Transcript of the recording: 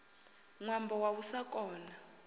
ṅwambo wa u sa kona